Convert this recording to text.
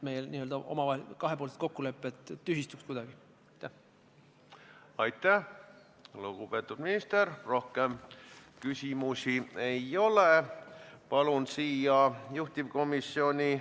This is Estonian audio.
Nii et kuidas sihtgrupp, praegusel juhul Eesti Puuetega Inimeste Koda, saab neid puudutavatest asjadest üldse teada, see on täiesti juhusepõhine.